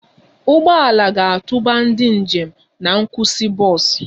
Ụgbọ ala ga-atụba ndị njem na nkwụsị bọs